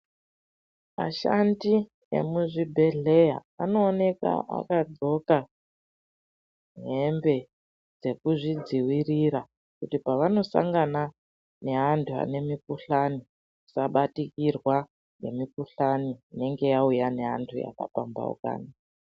Ashandi emuzvibhedhleya anoonekwa akadxoka hembe dzekuzvidziirira kuti paanosangana neantu ane mukhuhlani asabatikirwa nemukhuhlani inenge yauya neantu akapampaukana.